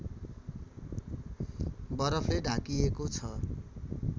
बरफले ढाकिएको छ